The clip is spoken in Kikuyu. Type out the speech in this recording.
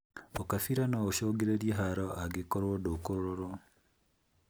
ũgabira noũcũngĩrĩrie haro angĩkorwo ndũkũrorwo